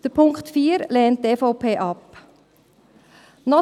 Den Punkt 4 lehnt die EVP ab.